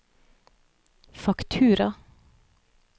faktura